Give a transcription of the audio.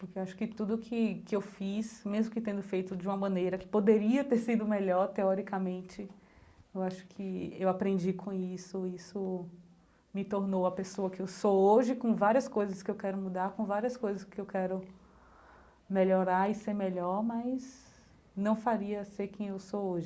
Porque eu acho que tudo que que eu fiz, mesmo que tendo feito de uma maneira que poderia ter sido melhor teoricamente, eu acho que eu aprendi com isso, isso me tornou a pessoa que eu sou hoje com várias coisas que eu quero mudar, com várias coisas que eu quero melhorar e ser melhor, mas não faria ser quem eu sou hoje.